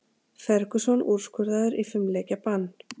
Ferguson úrskurðaður í fimm leikja bann